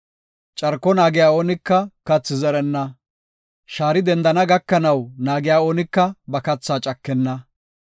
Carko naagiya oonika kathi zerenna; shaari dendana gakanaw naagiya oonika ba kathaa cakenna.